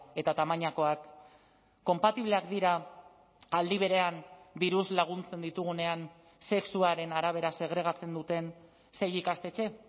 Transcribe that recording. eta tamainakoak konpatibleak dira aldi berean diruz laguntzen ditugunean sexuaren arabera segregatzen duten sei ikastetxe